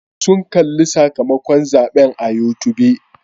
Sun kalli sakamakon zaɓen a youtube.